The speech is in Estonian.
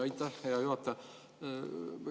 Aitäh, hea juhataja!